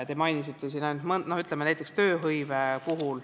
Te mainisite tööhõivet.